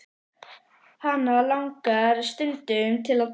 Hana langar stundum til að deyja.